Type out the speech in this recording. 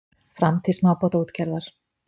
Framtíð smábátaútgerðar?